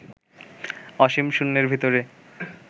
অসীম শূন্যের ভিতরে